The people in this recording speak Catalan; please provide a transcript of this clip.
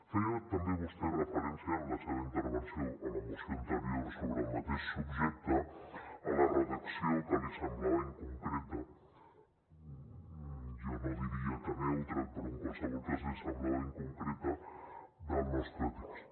feia també vostè referència en la seva intervenció a la moció anterior sobre el mateix subjecte a la redacció que li semblava inconcreta jo no diria que neutra però en qualsevol cas li semblava inconcreta del nostre text